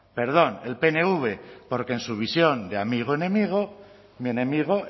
perdón el pnv porque en su visión de amigo enemigo mi enemigo